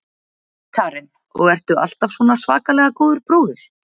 Karen: Og ertu alltaf svona svakalega góður bróðir?